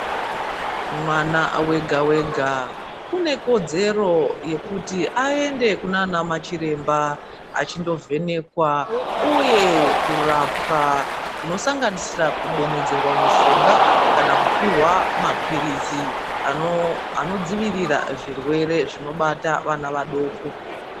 Mwana wega wega unekodzero yekuti aende kunana chiremba achindovhenekwa uye kurapwa zvinosanganisira kudonedzerwa mushonga, kana kupihwa maphirizi anodzivirira zvirwere zvinobata vana vadoko.